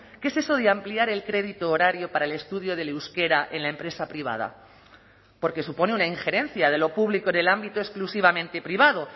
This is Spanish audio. qué es eso de ampliar el crédito horario para el estudio del euskera en la empresa privada porque supone una injerencia de lo público en el ámbito exclusivamente privado